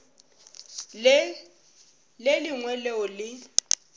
le le lengwe leo le